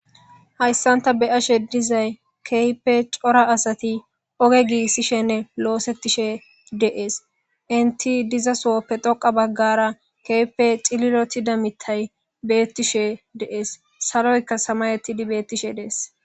Hayisan ta be7ashe dizay kehipe cora asati oge gigisishene losetishe de7es. Enit diza sohope dhoqa bagara kehipe cilolitida mitay betishe de7es. Saloyika samayetid betishe de7es.